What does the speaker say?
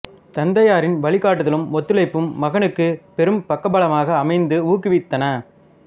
தந்தையாரின் வழிகாட்டுதலும் ஒத்துழைப்பும் மகனுக்குப் பெரும் பக்கபலமாக அமைந்து ஊக்குவித்தன